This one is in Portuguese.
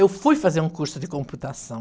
Eu fui fazer um curso de computação.